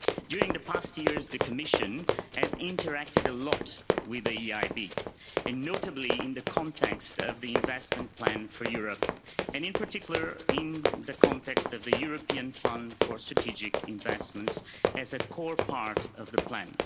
During the past years the Commission has interacted a lot with the EIB, notably in the context of the Investment Plan for Europe, and in particular in the context of the European Fund for Strategic Investments, as a core part of the plan.